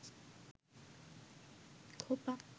খোপা